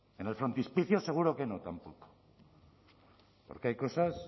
en el frontispicio seguro que no tampoco porque hay cosas